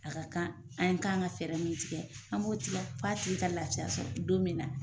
A ka kan an kan ka fɛɛrɛ min tigɛ an b'o tigɛ fo a tigi ka lafiya sɔrɔ don min na